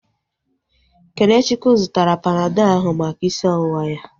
Kenechukwu zụtara Panadọl ahu maka isi ọwụwa ya